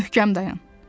Möhkəm dayan.